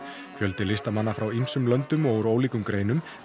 fjöldi listamanna frá ýmsum löndum og ólíkum greinum